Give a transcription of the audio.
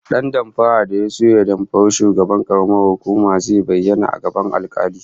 Dan damfarar da ya so ya damfari shugaban karamar hukumar zai bayyana a gaban alkali